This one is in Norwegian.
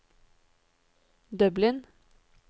Dublin